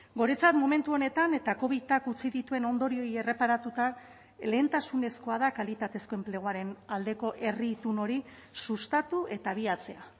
guretzat momentu honetan eta covidak utzi dituen ondorioei erreparatuta lehentasunezkoa da kalitatezko enpleguaren aldeko herri itun hori sustatu eta abiatzea